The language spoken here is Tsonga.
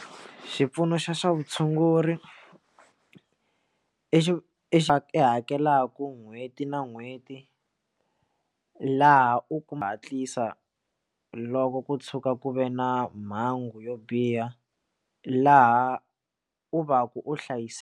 Xipfuno xa swa vutshunguri i hakelaka n'hweti na n'hweti laha u kuma hatlisa loko ku tshuka ku ve na mhangu yo biha laha u va ku u hlayiseka.